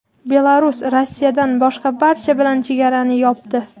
Belarus Rossiyadan boshqa barcha bilan chegarani yopdi.